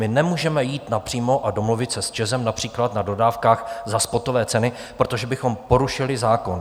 My nemůžeme jít napřímo a domluvit se s ČEZem například na dodávkách za spotové ceny, protože bychom porušili zákon.